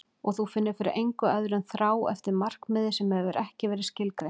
Og þú finnur fyrir engu öðru en þrá eftir markmiði sem hefur ekki verið skilgreint.